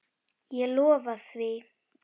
Ég lofa því.